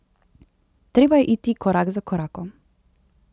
Treba je iti korak za korakom.